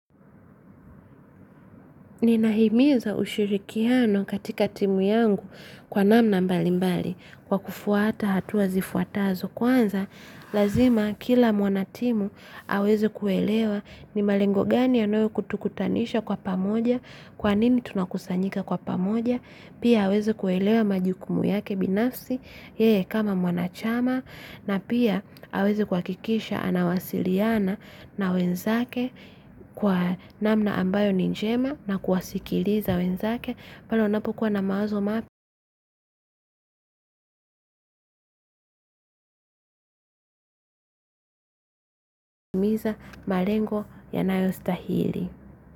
Ninahimiza ushirikiano katika timu yangu kwa namna mbalimbali kwa kufuata hatua zifuatazo kwanza lazima kila mwanatimu aweze kuelewa ni malengo gani anayo kutukutanisha kwa pamoja kwa nini tunakusanyika kwa pamoja pia aweze kuelewa majukumu yake binafsi yeye kama mwanachama na pia aweze kuwakikisha anawasiliana na wenzake kwa namna ambayo ni njema na kuwasikiliza wenzake palo wanapokuwa na mawazo mapi miza malengo yanayo stahili.